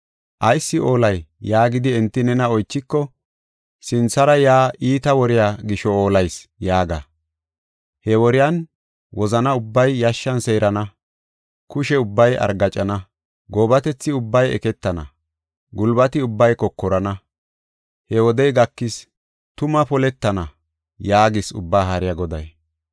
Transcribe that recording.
‘Ayis oolay?’ yaagidi enti nena oychiko, ‘Sinthara yaa iita woriya gisho ollayis’ yaaga. He woriyan, ‘Wozani ubbay yashshan seerana; kushe ubbay argaacana; goobatethi ubbay eketana; gulbati ubbay kokorana. He wodey gakis; tuma poletana’ ” yaagees Ubbaa Haariya Goday.